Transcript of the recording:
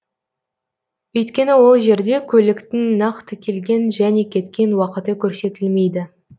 өйткені ол жерде көліктің нақты келген және кеткен уақыты көрсетілмейді